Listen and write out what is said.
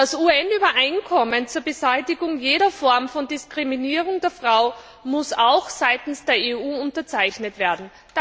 Das UN Übereinkommen zur Beseitigung jeder Form von Diskriminierung der Frau muss auch seitens der EU unterzeichnet werden.